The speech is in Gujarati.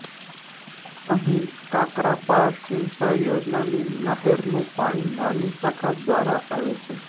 અંહી કાકરાપાર સિંચાઇ યોજનાની નહેરનું પાણી નાની શાખા દ્વારા આવે છે